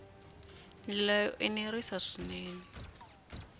ndlela yo enerisa swinene na